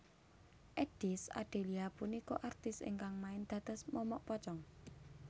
Eddies Adelia punika artis ingkang main dados momok pocong